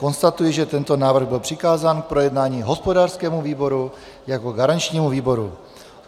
Konstatuji, že tento návrh byl přikázán k projednání hospodářskému výboru jako garančnímu výboru.